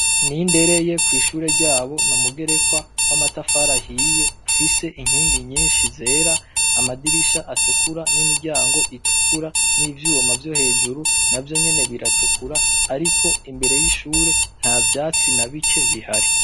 Nindereye kwishuri ryabo n'umugerekwa wamatafari ahiye ufise inkingi nyishi zera amadirisha atukura n'imiryango itukura n'ivyima vyohejuru navyonyene biratukura ariko imbere yishuri ntavyatsi na bike bihari.